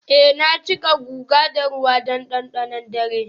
eh na cika guga da ruwan dandanon dare.